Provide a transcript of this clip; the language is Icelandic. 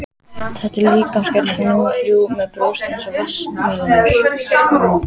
Þetta er líkamsgerð númer þrjú, með brjóst eins og vatnsmelónur.